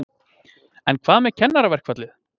En hvað með kennaraverkfallið?